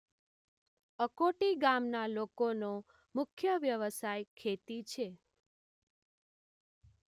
અકોટી ગામના લોકોનો મુખ્ય વ્યવસાય ખેતી છે